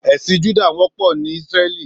Èsín Jùdá wòpò ni Isrèlí